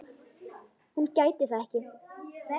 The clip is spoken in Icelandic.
Hún gæti það ekki.